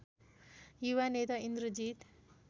युवा नेता इन्द्रजीत